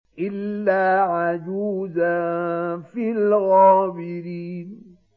إِلَّا عَجُوزًا فِي الْغَابِرِينَ